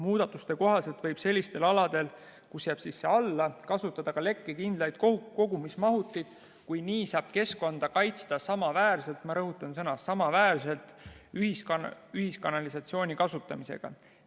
Muudatuste kohaselt võib sellistel aladel kasutada ka lekkekindlat kogumismahutit, kui nii saab keskkonda kaitsta samaväärselt – ma rõhutan sõna "samaväärselt" – ühiskanalisatsiooni kasutamisega.